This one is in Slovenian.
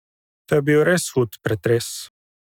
To je bil res hud pretres!